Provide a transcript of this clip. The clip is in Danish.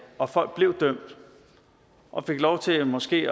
og folk blev dømt og fik lov til måske